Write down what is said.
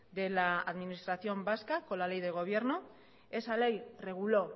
de la administración vasca con la ley de gobierno esa ley reguló